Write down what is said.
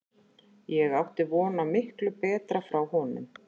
Ég átti von á miklu betra frá honum.